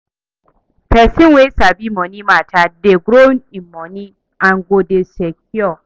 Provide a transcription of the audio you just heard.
Pesin wey sabi moni mata dey grow in moni and go dey secure